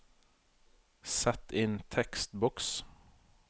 Sett inn tekstboks